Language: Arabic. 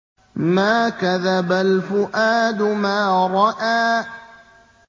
مَا كَذَبَ الْفُؤَادُ مَا رَأَىٰ